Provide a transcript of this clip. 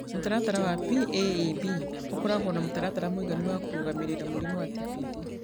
Mũtaratara wa PAEB ũkoragwo na mũtaratara mũiganu wa kũrũgamĩrĩra mũrimũ wa TPD.